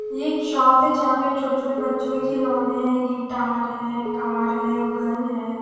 ये एक शॉप है जहां पे छोटे छोटे बच्चों के खिलौने हैं गिटार हैं कार हैं गन है।